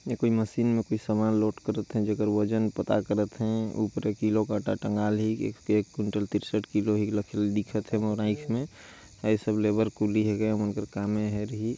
ये कोई मशीन में कोई सामान लोड करथ है जेकर वजन पता करथ है ऊपरे किलो काँटा टंगा ली एक कुंटल तिरसठ किलो दिखथे हे मोला इसमें ये सब लेबर कुली ही --